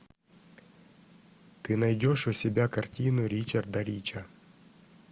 ты найдешь у себя картину ричарда рича